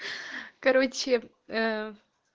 короче